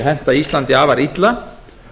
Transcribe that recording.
henta íslandi afar illa